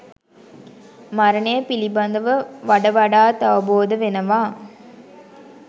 මරණය පිළිබඳව වඩ වඩාත් අවබෝධ වෙනවා.